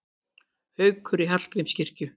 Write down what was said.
Haukur í Hallgrímskirkju